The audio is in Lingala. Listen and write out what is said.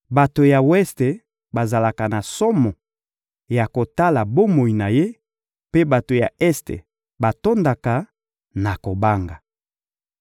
Bato ya weste bazalaka na somo ya kotala bomoi na ye, mpe bato ya este batondaka na kobanga.